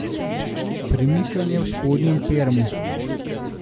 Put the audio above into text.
Premikanje v spodnjem permu ...